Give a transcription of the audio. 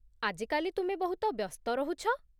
ଆଜି କାଲି ତୁମେ ବହୁତ ବ୍ୟସ୍ତ ରହୁଛ।